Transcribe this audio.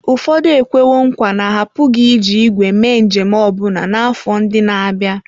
Ụfọdụ ekwewo nkwa na ha apụghị iji ígwè mee njem ọbụna n'afọ ndị na-abịa.